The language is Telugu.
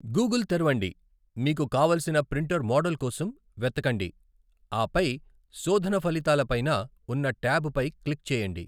గూగుల్ తెరవండి, మీకు కావలసిన ప్రింటర్ మోడల్ కోసం వెతకండి, ఆపై శోధన ఫలితాల పైన ఉన్న ట్యాబ్ పై క్లిక్ చేయండి.